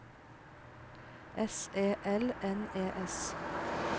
S E L N E S